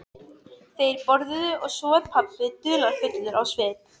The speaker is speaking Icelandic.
Þeir borðuðu og svo varð pabbi dularfullur á svip.